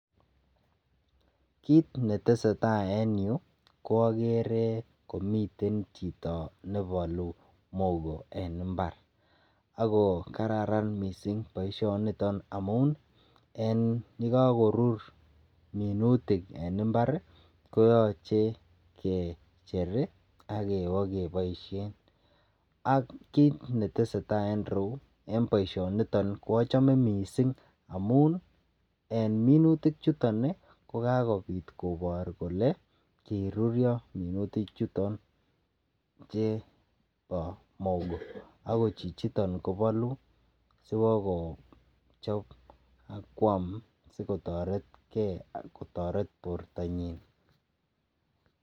Kit neteseta en yu ko agere komiten chito nebalu mogo en imbar ago kararan mising boisionito amun yekakorur minutik en imbar koyoche kecher ak kobakeboisien. Ak kit neteseta en ireyu en boisioniton koachome mising amun en minutichuton kikakopit kobor kole kirurio minuti chuton chebo mogo agot chichiton kobalu siwochob akwam sigotoretke, kotoret bortanyin